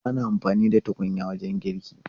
Ana amfani da tukunya wajen girki.